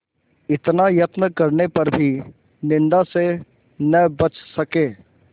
इतना यत्न करने पर भी निंदा से न बच सके